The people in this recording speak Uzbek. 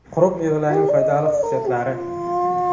Quruq mevalarning foydali xususiyatlari.